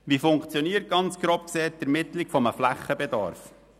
Wie funktioniert, ganz grob betrachtet, die Ermittlung eines Flächenbedarfs?